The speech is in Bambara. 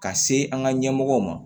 Ka se an ka ɲɛmɔgɔw ma